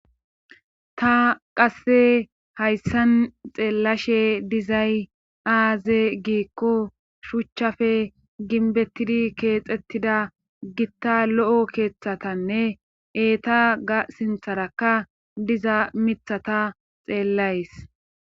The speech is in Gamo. ta qasse hayssan xeellashe dizay aaze giikko shuchchafe ginbettidi keexettida gitta lo7o keeththatanne eeta ga sintharakka diza mithata xeellays